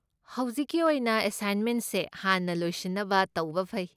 ꯍꯧꯖꯤꯛꯀꯤ ꯑꯣꯏꯅ, ꯑꯦꯁꯥꯏꯟꯃꯦꯟꯁꯦ ꯍꯥꯟꯅ ꯂꯣꯏꯁꯤꯟꯅꯕ ꯇꯧꯕ ꯐꯩ꯫